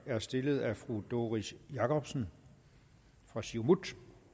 er stillet af fru doris jakobsen fra siumut